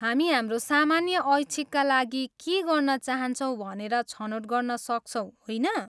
हामी हाम्रो सामान्य ऐच्छिकका लागि के गर्न चाहन्छौँ भनेर छनौट गर्न सक्छौँ, होइन?